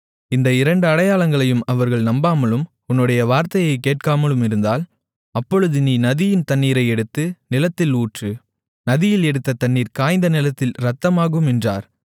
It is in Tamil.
இந்த இரண்டு அடையாளங்களையும் அவர்கள் நம்பாமலும் உன்னுடைய வார்த்தையைக் கேட்காமலும் இருந்தால் அப்பொழுது நீ நதியின் தண்ணீரை எடுத்து நிலத்தில் ஊற்று நதியில் எடுத்த தண்ணீர் காய்ந்த நிலத்தில் இரத்தமாகும் என்றார்